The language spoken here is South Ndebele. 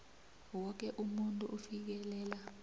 woke umuntu ufikelela